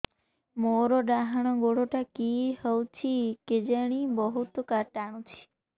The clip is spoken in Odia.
ମୋର୍ ଡାହାଣ୍ ଗୋଡ଼ଟା କି ହଉଚି କେଜାଣେ ବହୁତ୍ ଟାଣୁଛି